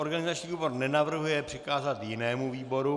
Organizační výbor nenavrhuje přikázat jinému výboru.